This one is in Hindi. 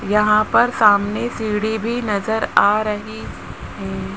यहां पर सामने सीढ़ी भी नजर आ रही है।